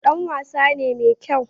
Dan wasa ne mai kyau